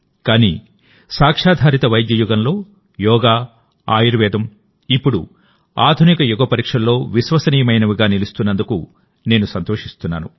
కానీ సాక్ష్యాధారిత వైద్య యుగంలోయోగా ఆయుర్వేదం ఇప్పుడు ఆధునిక యుగపరీక్షల్లో విశ్వసనీయమైనవిగా నిలుస్తున్నందుకు నేను సంతోషిస్తున్నాను